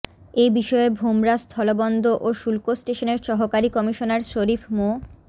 এ বিষয়ে ভোমরা স্থলবন্দ ও শুল্ক স্টেশনের সহকারী কমিশনার শরীফ মো